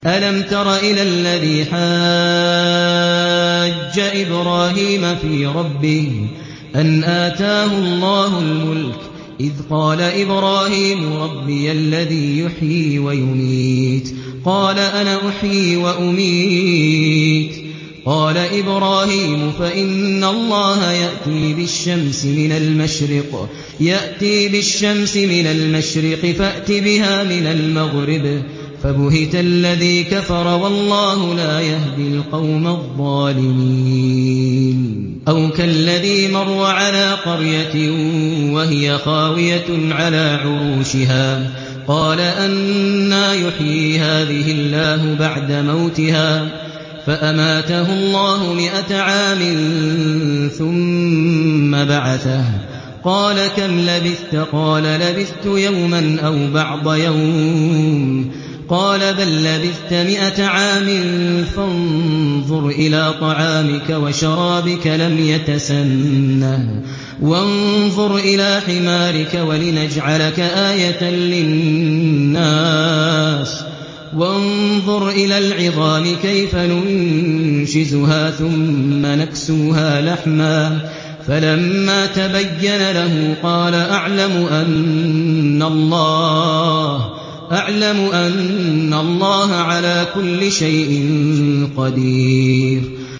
أَلَمْ تَرَ إِلَى الَّذِي حَاجَّ إِبْرَاهِيمَ فِي رَبِّهِ أَنْ آتَاهُ اللَّهُ الْمُلْكَ إِذْ قَالَ إِبْرَاهِيمُ رَبِّيَ الَّذِي يُحْيِي وَيُمِيتُ قَالَ أَنَا أُحْيِي وَأُمِيتُ ۖ قَالَ إِبْرَاهِيمُ فَإِنَّ اللَّهَ يَأْتِي بِالشَّمْسِ مِنَ الْمَشْرِقِ فَأْتِ بِهَا مِنَ الْمَغْرِبِ فَبُهِتَ الَّذِي كَفَرَ ۗ وَاللَّهُ لَا يَهْدِي الْقَوْمَ الظَّالِمِينَ